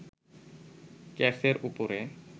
কেসের ওপরে